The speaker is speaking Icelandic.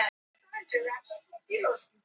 í jafnvægi breytist hún ekki